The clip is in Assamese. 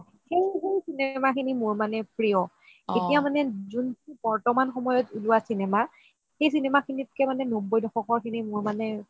সেইবোৰ cinema খিনি মোৰ মানে প্ৰিয় এতিয়া মানে যোনটো বৰ্তমানত ওলোৱা cinema সেই cinema খিনিত কে মানে নবৈ দশকৰ মোৰ মানে